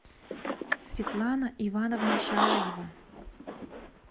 светлана ивановна шараева